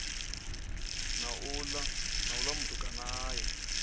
na uḽa mutukana a ya